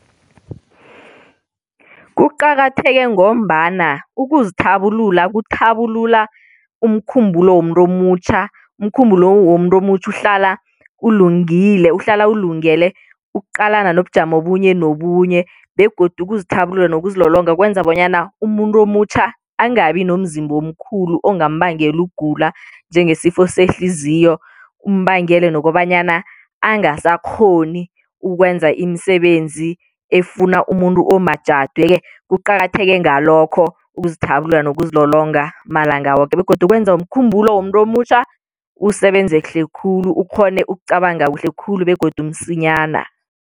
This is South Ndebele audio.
Kuqakatheke ngombana ukuzithabulula kuthabulula umkhumbulo womuntu omutjha, umkhumbulo womuntu omutjha uhlala ulungile uhlala ulungele ukuqalana nobujamo bunye nobunye begodu uzithabulula nokuzilolonga kwenza bonyana umuntu omutjha angabi nomzimba omkhulu ongambangela ukugula njengesifo sehliziyo umbangele nokobanyana angasakghoni ukwenza imisebenzi efuna umuntu omajadu. Yeke kuqakatheke ngalokho ukuzithabulula nokuzilolonga malanga woke begodu kwenza umkhumbulo womuntu omutjha usebenze kuhle khulu ukghone ukucabanga kuhle khulu begodu msinyana.